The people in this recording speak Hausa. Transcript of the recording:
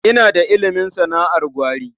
Ina da ilimin sana'ar gwari.